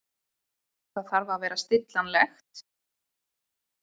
Það þarf að vera stillanlegt.